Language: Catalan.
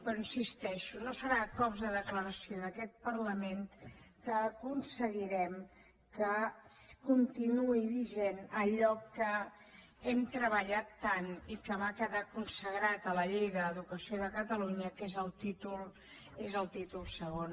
però hi insisteixo no serà a cops de declaració d’aquest parlament que aconseguirem que continuï vigent allò que hem treballat tant i que va quedar consagrat a la llei d’educació de catalunya que és el títol segon